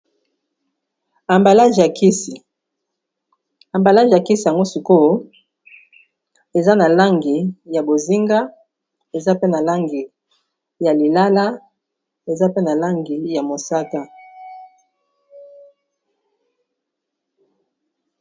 Ambalage ya kisi yango sikoyo eza na langi ya bozinga eza pe na langi ya lilala eza pe na langi ya mosaka.